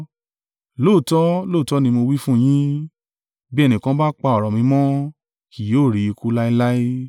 Lóòótọ́, lóòótọ́ ni mo wí fún yín, bí ẹnìkan bá pa ọ̀rọ̀ mi mọ́, kì yóò rí ikú láéláé.”